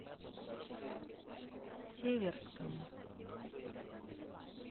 северском